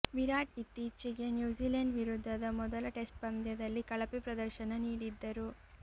ವಿರಾಟ್ ಇತ್ತೀಚೆಗೆ ನ್ಯೂಜಿಲೆಂಡ್ ವಿರುದ್ಧದ ಮೊದಲ ಟೆಸ್ಟ್ ಪಂದ್ಯದಲ್ಲಿ ಕಳಪೆ ಪ್ರದರ್ಶನ ನೀಡಿದ್ದರು